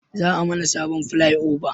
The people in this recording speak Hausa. Za a mana sabon filai oba